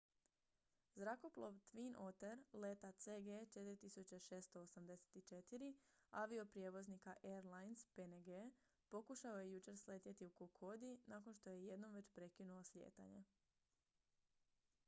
zrakoplov twin otter leta cg 4684 avioprijevoznika airlines png pokušao je jučer sletjeti u kokodi nakon što je jednom već prekinuo slijetanje